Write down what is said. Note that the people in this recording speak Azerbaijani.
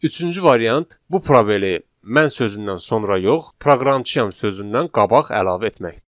Üçüncü variant bu probeli mən sözündən sonra yox, proqramçıyam sözündən qabaq əlavə etməkdir.